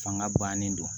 Fanga bannen do